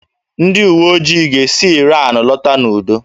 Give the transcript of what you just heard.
Ndị uwe ojii ga-esi Ịran lọta n'udo